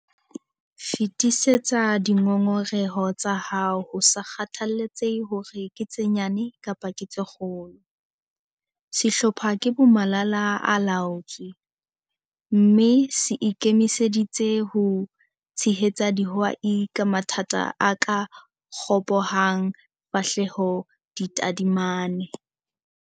Fetisetsa dingongoreho tsa hao ho sa kgathalatsehe hore ke tse nyane kapa tse kgolo. Sehlopha ke bomalala-a-laotswe, mme se ikemiseditse ho tshehetsa dihwai ka mathata a ka ropohang fahleho di tadimane.